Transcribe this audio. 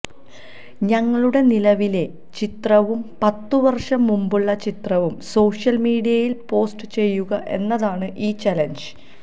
തങ്ങളുടെ നിലവിലെ ചിത്രവും പത്തു വര്ഷം മുന്പുള്ള ചിത്രവും സോഷ്യല് മീഡിയയില് പോസ്റ്റ് ചെയ്യുക എന്നതാണ് ഈ ചലഞ്ച്